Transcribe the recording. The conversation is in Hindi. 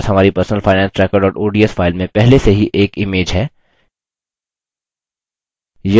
हमारे पास हमारी personalfinancetracker ods file में पहले से ही एक image है